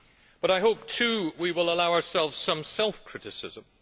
But I hope too that we will allow ourselves some self criticism.